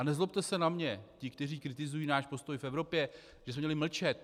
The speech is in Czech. A nezlobte se na mě - ti, kteří kritizují náš postoj v Evropě, že jsme měli mlčet.